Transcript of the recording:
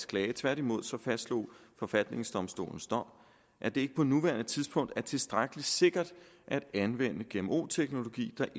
klage tværtimod fastslog forfatningsdomstolens dom at det ikke på nuværende tidspunkt er tilstrækkelig sikkert at anvende gmo teknologi der